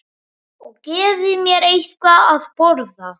Og gefi mér eitthvað að borða.